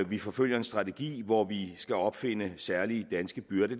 vi forfølger en strategi hvor vi skal opfinde særlige danske byrder